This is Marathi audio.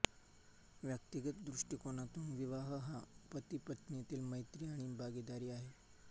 व्यक्तिगत दृष्टिकोनातून विवाह हा पतिपत्नींतील मैत्री आणि भागीदारी आहे